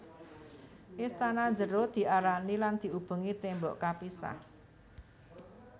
Istana jero diarani lan diubengi tembok kapisah